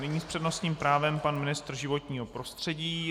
Nyní s přednostním právem pan ministr životního prostředí.